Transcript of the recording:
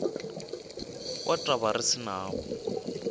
wa taba re se nawo